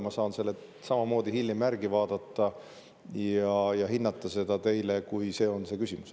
Ma saan selle hiljem järgi vaadata ja selle hinnangu teile, kui see on see küsimus.